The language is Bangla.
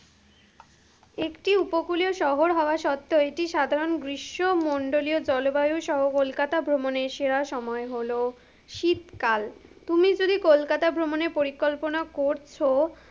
একটি উপকূলীয় শহর হওয়া সত্তেও এটি সাধারণ গ্রীষ্মমণ্ডলীও জলবায়ু সহ কলকাতা ভ্রমণের সেরা সময় হলো শীতকাল, তুমি যদি কলকাতা ভ্রমণের পরিকল্পনা করছো,